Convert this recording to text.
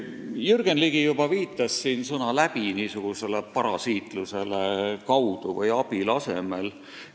Jürgen Ligi juba viitas sõna "läbi" parasiitlusele – seda kasutatakse "kaudu" või "abil" asemel.